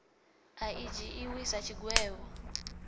a i dzhiiwi sa tshigwevho